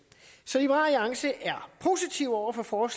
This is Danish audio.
så liberal alliance er positiv over for